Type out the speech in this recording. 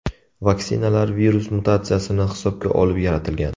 Vaksinalar virus mutatsiyasini hisobga olib yaratilgan.